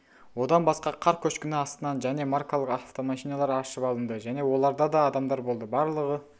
одан басқа қар көшкіні астынан және маркалық автомашиналар аршып алынды және оларда да адамдар болды барлығы